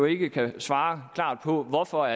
ikke kan svare klart på hvorfor